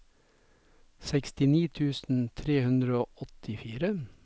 sekstini tusen tre hundre og åttifire